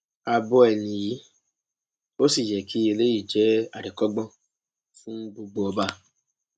abo ẹ nìyí o ò sì yẹ kí eléyìí jẹ àríkọgbọn fún gbogbo ọba